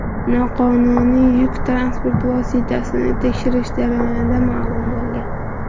Noqonuniy yuk transport vositasini tekshirish jarayonida ma’lum bo‘lgan.